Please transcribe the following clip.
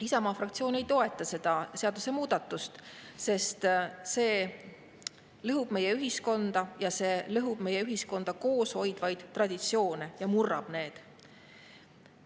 Isamaa fraktsioon ei toeta seda seadusemuudatust, sest see lõhub meie ühiskonda ja see lõhub meie ühiskonda koos hoidvaid traditsioone ja murrab need.